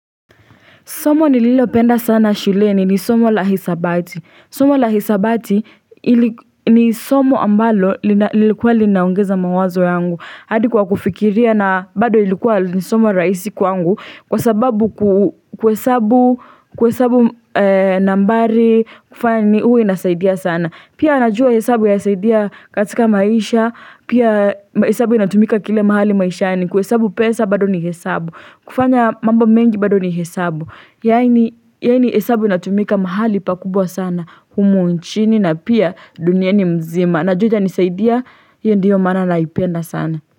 Somo nililopenda sana shuleni ni somo la hisabati. Somo la hisabati ni somo ambalo lilikuwa linaongeza mawazo yangu. Hadi kwa kufikiria na bado ilikuwa ni somo rahisi kwangu kwa sababu kuhesabu nambari huwa inasaidia sana. Pia najua hesabu yasaidia katika maisha, pia hesabu inatumika kila mahali maishani. Kuesabu pesa bado ni hesabu. Kufanya mambo mengi bado ni hesabu. Yaani yaani hesabu inatumika mahali pakubwa sana humu nchini na pia duniani mzima, najua itanisaidia hiyo ndiyo maana naipenda sana.